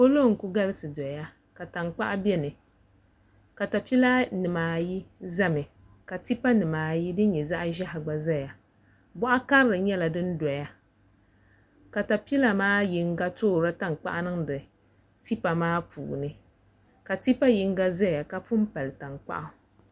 Polo n ku galisi doya ka tankpaɣu bɛ ni katapila nimaayi ʒɛmi ka tipa nimaayi din nyɛ zaɣ ʒiɛhi gba ʒɛya boɣa karili nyɛla din doya katapila nim maa puuni yino toorila tankpaɣu niŋdi tipa maa puuni ka tipa yinga ʒɛya ka pun pali tankpaɣu